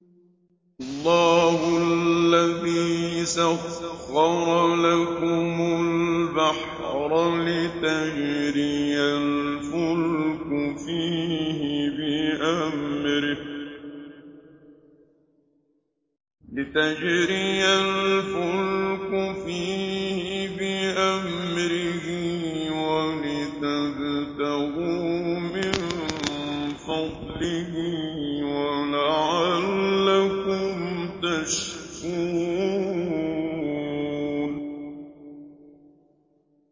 ۞ اللَّهُ الَّذِي سَخَّرَ لَكُمُ الْبَحْرَ لِتَجْرِيَ الْفُلْكُ فِيهِ بِأَمْرِهِ وَلِتَبْتَغُوا مِن فَضْلِهِ وَلَعَلَّكُمْ تَشْكُرُونَ